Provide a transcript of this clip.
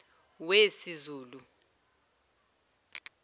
wesizulu